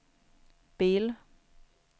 bil